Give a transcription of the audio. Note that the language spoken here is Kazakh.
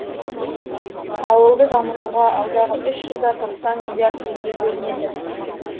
ауылды дамытуға алдағы үш жылда тоқсан миллиард теңге бөлінеді